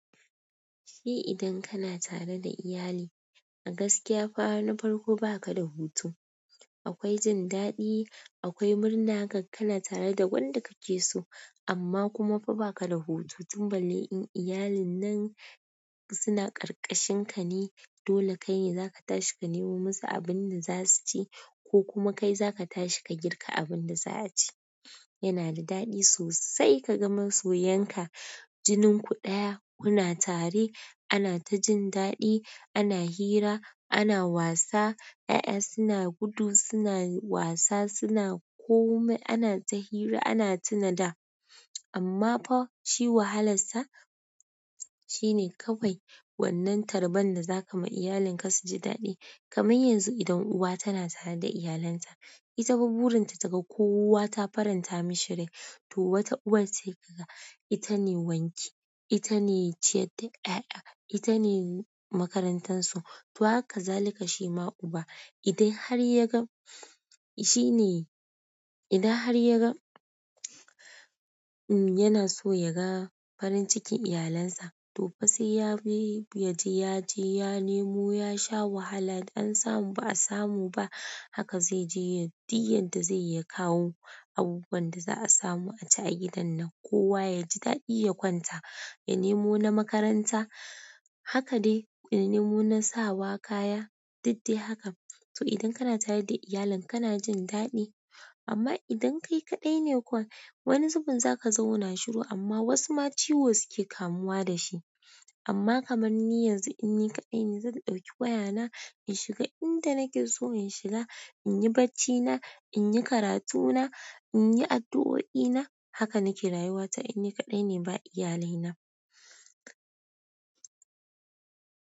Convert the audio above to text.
Shi idan kana tare da iyali a gaskiya fara na farko ba ka da hutu. Akwai jin daɗi, akwai murna, gaka kana tare da wanda ka ke so amma kuma fa ba ka da hutu. Tunda dai in iyalin nan suna ƙarƙashin ka ne, dole kai ne za ka tashi ka nemo musu abin da za su ci ko kuma kai za ka tashi ka girka abin da za a ci. Yana da daɗi sosai ka ga masoyan ka, jinin ku ɗaya kuna tare, ana ta jin daɗi, ana hira, ana wasa, 'ya'ya suna gudu, suna wasa, suna kome, ana ta hira ana tuna da. Amma fa shi wahalarsa shine kawai wannan tarban da za ka ma iyalin ka su ji daɗi. Kamai yanzu idan uwa tana tare da iyalanta itafa burinta taga kowa ta faranta mishi rai to wata uwar ce kaga ita ne wanki, ita ne ciyar da 'ya'ya, ita ne makarantar su. To haka zalika shi ma uba idan har ya ga, shi ne, idan har ya ga, mm yana so ya ga farin cikin iyalinsa. To fa sai ya bi, ya je, ya je ya nemo, ya sha wahala. An samu ba a samu ba. Haka zai je yay diy yadda zai yi kawo abubuwan da za a samu a ci a gidan nan. Kowa ya ji daɗi ya kwanta, ya nemo na makaranta. Haka dai ya nemo na sawa kaya, duk dai haka. To idan kana tare da iyalin ka, kana jin daɗi. Amma idan kai kaɗai ne kuwa, wani zubin za ka zauna shiru amma wasu ma ciwo suke kamuwa da shi. Amma kamar ni yanzu inni kaɗai ne zan ɗauki wayana inshiga inda inkeso in shiga, inyi baccina, inyi karatuna, inyi addu'oi na haka nake rayuwa ta in ni kaɗai ne ba iyalai na.